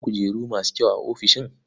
Akwai kujeru masu kyau a ofishin?